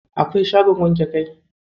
Akwai shagon wanke kai?